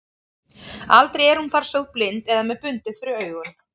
Aldrei er hún þar sögð blind eða með bundið fyrir augun.